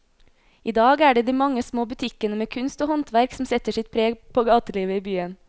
I dag er det de mange små butikkene med kunst og håndverk som setter sitt preg på gatelivet i byen.